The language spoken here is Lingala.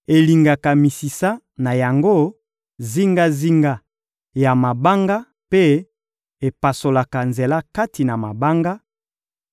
elingaka misisa na yango zingazinga ya mabanga mpe epasolaka nzela kati na mabanga;